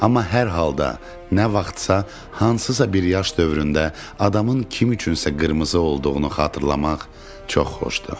Amma hər halda nə vaxtsa hansısa bir yaş dövründə adamın kim üçünsə qırmızı olduğunu xatırlamaq çox xoşdur.